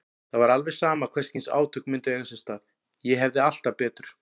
Það var alveg sama hvers kyns átök myndu eiga sér stað, ég hefði alltaf betur.